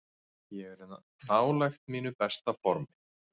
Ég er nálægt mínu besta formi.